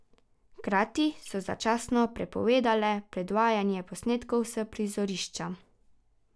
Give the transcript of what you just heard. Hkrati so začasno prepovedale predvajanje posnetkov s prizorišča.